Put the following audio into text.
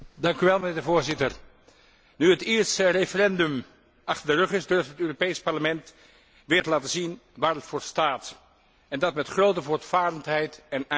Voorzitter, nu het Ierse referendum achter de rug is, durft het Europees Parlement weer te laten zien waar het voor staat, en dat met grote voortvarendheid en ijver.